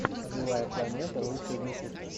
живая планета лучший выпуск